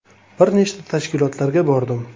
Bir nechta tashkilotlarga bordim.